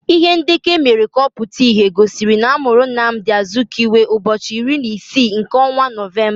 Ihe ndekọ emere ka ọ pụta ìhè gosiri na amụrụ Nnamdi Azikiwe ụbọchị iri na isii nke ọnwa Nọvemba.